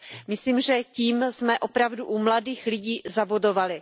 Myslím, že tím jsme opravdu u mladých lidí zabodovali.